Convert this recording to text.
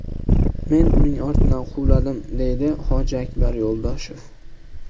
Men uning ortidan quvladim”, deydi Hojiakbar Yo‘ldoshev.